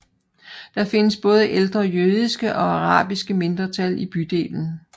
Men der findes også ældre jødiske og arabiske mindretal i bydelen